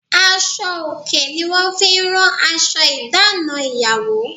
Aṣọ òkè ni wọ́n fi rán aṣọ ìdáná ìyàwó.